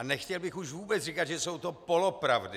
A nechtěl bych už vůbec říkat, že jsou to polopravdy.